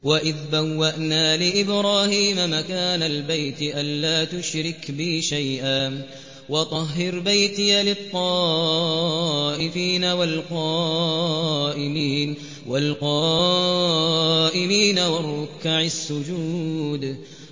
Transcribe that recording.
وَإِذْ بَوَّأْنَا لِإِبْرَاهِيمَ مَكَانَ الْبَيْتِ أَن لَّا تُشْرِكْ بِي شَيْئًا وَطَهِّرْ بَيْتِيَ لِلطَّائِفِينَ وَالْقَائِمِينَ وَالرُّكَّعِ السُّجُودِ